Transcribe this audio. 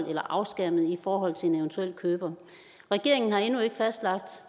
eller afskærmet i forhold til en eventuel køber regeringen har endnu ikke fastlagt